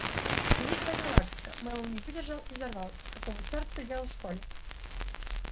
великая галактика мэллоу не выдержал и взорвался какого черта ты делал в школе